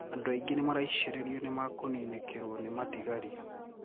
Andũ aingi nimaraishririo nimakunikiirio ni matigario.